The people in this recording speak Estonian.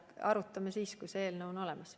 Arutame seda teemat siis, kui see eelnõu on olemas.